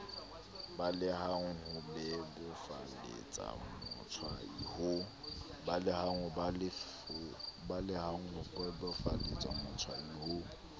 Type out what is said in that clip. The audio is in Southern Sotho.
balehang ho bebofaletsa motshwai ho